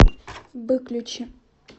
выключи